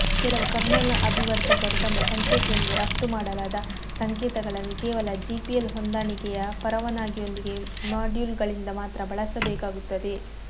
ಕೆಲವು ಕರ್ನಲ್ ಅಭಿವರ್ಧಕರು ತಮ್ಮ ಸಂಕೇತದಿಂದ ರಫ್ತು ಮಾಡಲಾದ ಸಂಕೇತಗಳನ್ನು ಕೇವಲ ಜಿಪಿಎಲ್ ಹೊಂದಾಣಿಕೆಯ ಪರವಾನಗಿಯೊಂದಿಗೆ ಮಾಡ್ಯೂಲ್ಗಳಿಂದ ಮಾತ್ರ ಬಳಸಬೇಕಾಗುತ್ತದೆ